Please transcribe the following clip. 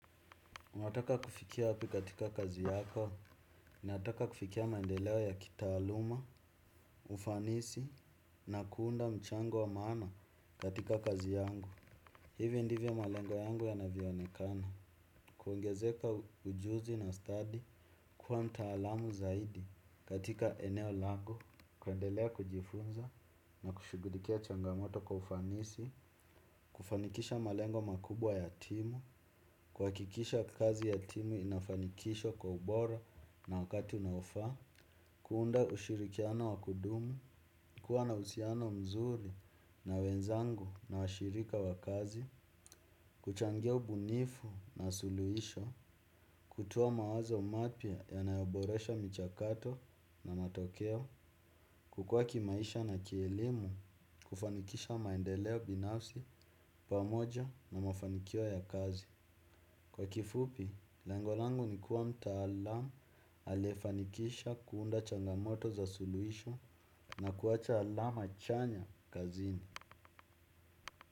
Unataka kufikia wapi katika kazi yako, nataka kufikia maendeleo ya kitaaluma, ufanisi, na kuunda mchango wa maana katika kazi yangu. Hivi ndivyo malengo yangu yanavyoonekana. Kuongezeka ujuzi na study kuwa mtaalamu zaidi katika eneo langu. Kuendelea kujifunza na kushughulikia changamoto kwa ufanisi. Kufanikisha malengo makubwa ya timu. Kuhakikisha kazi ya timu inafanikishwa kwa ubora na wakati unaofa. Kuunda ushirikiano wakudumu. Kuwa na uhusiano mzuri na wenzangu na washirika wakazi. Kuchangia ubunifu na suluisho. Kutoa mawazo mapya yanayoboresha michakato na matokeo. Kukuwa kimaisha na kielimu. Kufanikisha maendeleo binafsi pamoja na mafanikio ya kazi. Kwa kifupi, lengo langu nikuwa mtaalamu, aliyefanikisha kuunda changamoto za suluhisho na kuacha alama chanya kazini.